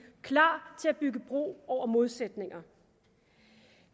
klar til at bygge bro over modsætninger